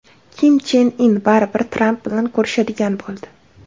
Kim Chen In baribir Tramp bilan ko‘rishadigan bo‘ldi.